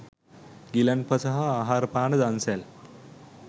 ගිලන්පස හා ආහාර පාන දන්සැල්